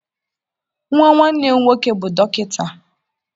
Nwa nwanne m nwoke bụ dọkịta.